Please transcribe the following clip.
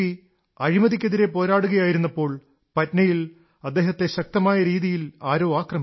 അഴിമതിക്കെതിരെ പോരാടുകയായിരുന്നപ്പോൾ പട്നയിൽ അദ്ദേഹത്തെ ശക്തമായ രീതിയിൽ ആരോ ആക്രമിച്ചു